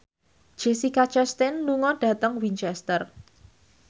Jessica Chastain lunga dhateng Winchester